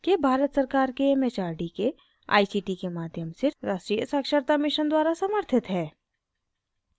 यह भारत सरकार के it it आर डी के आई सी टी के माध्यम से राष्ट्रीय साक्षरता mission द्वारा समर्थित है